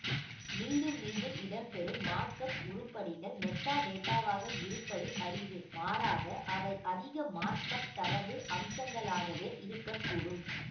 மீண்டும் மீண்டும் இடம்பெறும் மார்க்அப் உருப்படிகள் மெட்டாடேட்டாவாக இருப்பது அரிது மாறாக அவை அதிக மார்க்அப் தரவு அம்சங்களாகவே இருக்க கூடும்